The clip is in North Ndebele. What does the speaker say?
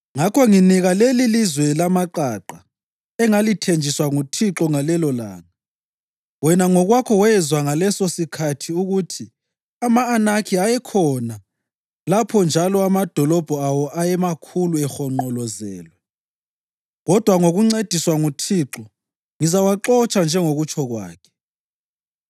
Ngakho nginika lelilizwe lamaqaqa engalithenjiswa nguThixo ngalelolanga. Wena ngokwakho wezwa ngalesosikhathi ukuthi ama-Anakhi ayekhona lapho njalo amadolobho awo ayemakhulu ehonqolozelwe, kodwa ngokuncediswa nguThixo, ngizawaxotsha njengokutsho kwakhe.”